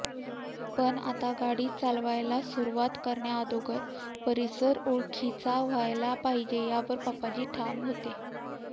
पण आता गाडी चालवायला सुरुवात करण्याअगोदर परिसर ओळखीचा व्हायला पाहिजे यावर पापाजी ठाम होते